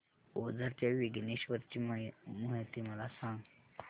ओझर च्या विघ्नेश्वर ची महती मला सांग